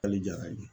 Hali jara